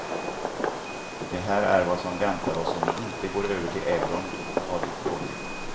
Det här är vad som väntar oss om vi inte går över till euron, har det låtit.